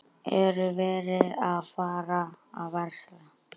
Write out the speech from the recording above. Er verið að fara að versla?